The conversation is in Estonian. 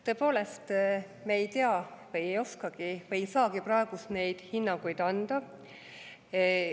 Tõepoolest, me ei tea, ei oska või ei saagi praegu neid hinnanguid anda.